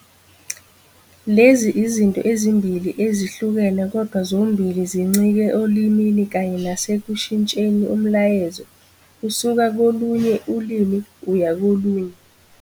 Lezi izinto ezimbili ezihlukene kodwa zombili zincike olimini kanye nase kushintsheni umyalezo usuka kolinye ulimi uya kolunye.